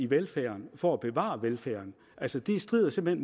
velfærden for at bevare velfærden altså det strider simpelt